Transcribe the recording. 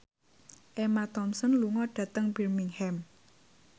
Emma Thompson lunga dhateng Birmingham